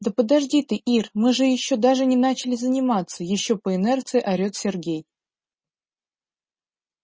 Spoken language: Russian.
да подожди ты ир мы же ещё даже не начали заниматься ещё по инерции орет сергей